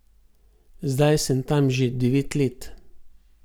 Zdaj sem tam že devet let.